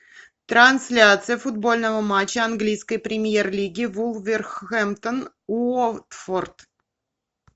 трансляция футбольного матча английской премьер лиги вулверхэмптон уотфорд